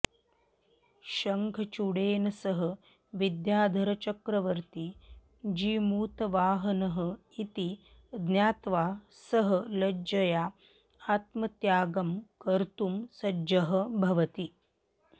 शङ्खचूडेन सः विद्याधरचक्रवर्ती जीमूतवाहनः इति ज्ञात्वा सः लज्जया आत्मत्यागं कर्तुं सज्जः भवति